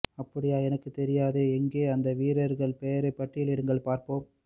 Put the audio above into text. அப்படியா எனக்குத் தெரியாதே எங்கே அந்த வீரர்கள் பெயரை பட்டியலிடுங்கள் பார்ப்போம்